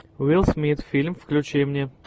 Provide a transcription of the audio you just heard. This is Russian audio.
уилл смит фильм включи мне